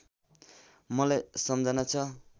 मलाई सम्झना छ